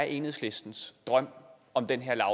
enhedslistens drøm om den her